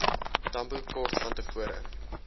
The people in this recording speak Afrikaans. tambo kort vantevore